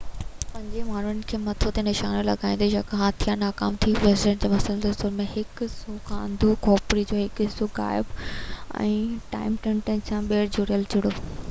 پنجين ماڻهو جي مٿي تي نشانو لڳائيندي يوڪا جو هٿيار ناڪام ٿي ويو شنائيدر کي مسلسل سور آهي هڪ اک سان انڌو کوپڙي جو هڪ حصو غائب ۽ ٽائيٽينيم سان ٻيهر جوڙيل چهرو